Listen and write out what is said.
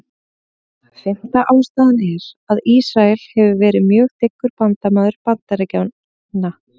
Fimmta ástæðan er, að Ísrael hefur verið mjög dyggur bandamaður Bandaríkjanna.